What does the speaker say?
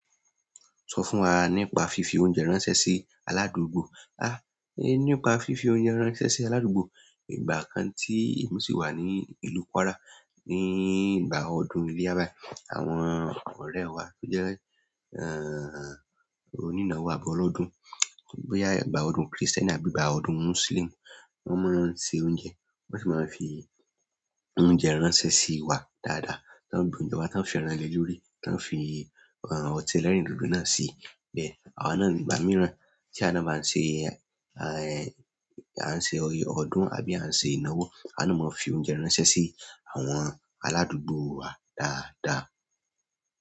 Sọ fún wa nípa fífi oúnjẹ ránṣẹ́ sí aládùúgbò. A! Nípa fífi oúnjẹ ránṣẹ́ sí aládùúgbò, ìgbà kan tí èmi sì wà ní ìlú Kwara, ní ìgbà ọdún iléyá bái, àwọn ọ̀rẹ́ wa tó jẹ́, ẹ́ẹ́, onínáwó àbí ọlọ́dún, bóyá ìgbà ọdún Krìstẹ́nì àbí ìgbà ọdún Mùsùlùmí, wọ́n máa ń ṣẹ oúnjẹ. Won si maa n fi oúnjẹ ránṣẹ́ si wa daada tán gbe òúnjẹ wá, tán fi ẹran le lórí, tán fi, ẹ́ ẹ́, ọtí ẹlẹ́rìndòdò náà sí i. Bẹ́ẹ̀, àwa náà ní ìgbà mìíràn tí awá ńa ba n ṣe, ẹ́ẹ́, a ń ṣe ọdún àbí a ń ṣe ìnáwó, awa náà máa ń fi oúnjẹ ránṣẹ́ sí àwọn aládùúgbò wa dáadáa.